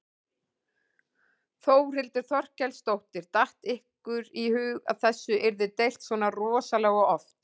Þórhildur Þorkelsdóttir: Datt ykkur í hug að þessu yrði deilt svona rosalega oft?